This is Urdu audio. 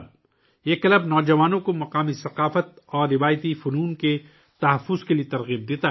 یہ کلب نوجوانوں کو مقامی ثقافت اور روایتی فنون کو محفوظ رکھنے کی ترغیب دیتا ہے